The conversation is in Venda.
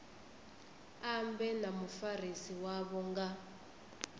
ambe na mufarisi wavho nga